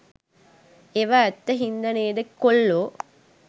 ඒවා ඇත්ත හින්ද නේද කොල්ලෝ